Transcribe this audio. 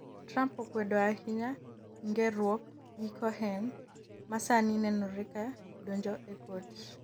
Trump okwedo ahinya ng'eruok gi Cohen ma sani nenore ka dojo e kot